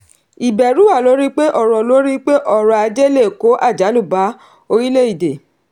ìbẹ̀rù wà lórí pé ọrọ̀ lórí pé ọrọ̀ ajé lè kó àjálù bá orílẹ̀-èdè.